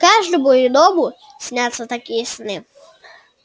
каждому иному снятся такие сны